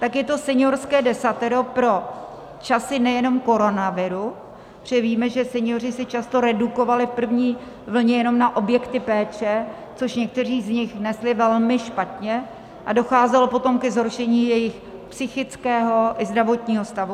Tak je to Seniorské desatero pro časy nejenom koronaviru, protože víme, že senioři se často redukovali v první vlně jenom na objekty péče, což někteří z nich nesli velmi špatně a docházelo potom ke zhoršení jejich psychického i zdravotního stavu.